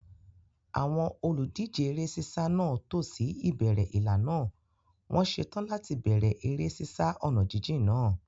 Àwọn olùdíje eré sísá náà tò sí ìbẹ̀rẹ̀ ìlà náà, wọ́n ṣetán láti bẹ̀rẹ̀ eré sísá ọ̀nà jíjìn náà.